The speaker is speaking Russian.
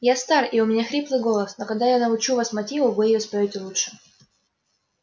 я стар и у меня хриплый голос но когда я научу вас мотиву вы её споёте лучше